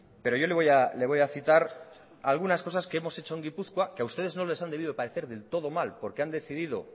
pero yo le voy a citar algunas cosas que hemos hecho en gipuzkoa que a ustedes no les han debido de parecer del todo mal porque han decidido